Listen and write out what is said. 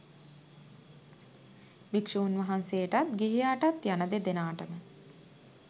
භික්‍ෂූන් වහන්සේටත් ගිහියාටත් යන දෙදෙනාටම